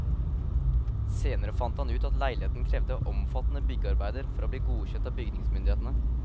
Senere fant han ut at leiligheten krevde omfattende byggearbeider for å bli godkjent av bygningsmyndighetene.